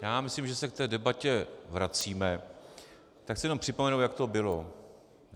Já myslím, že se k té debatě vracíme, tak chci jenom připomenout, jak to bylo.